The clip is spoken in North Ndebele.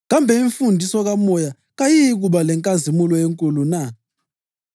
kambe imfundiso kaMoya kayiyikuba lenkazimulo enkulu na?